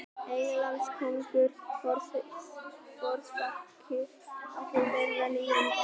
Englandskóngur forsprakki þeirrar nýjungar.